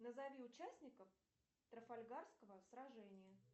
назови участников трафальгарского сражения